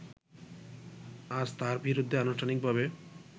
আজ তার বিরুদ্ধে আনুষ্ঠানিকভাবে